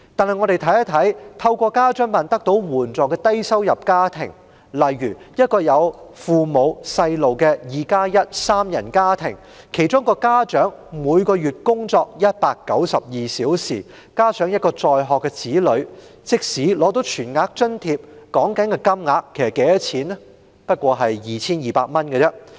然而，看看透過家津辦得到援助的低收入家庭，例如一個有父母、子女的 "2+1" 三人家庭，其中一位家長每月工作192小時，加上一位在學的子女，即使取得全額津貼，每月金額也不過 2,200 元而已。